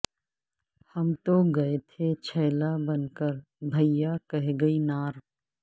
ہم تو گئے تھے چھیلا بن کر بھیا کہہ گئی نار